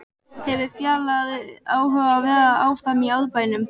Hefur Fjalar áhuga á að vera áfram í Árbænum?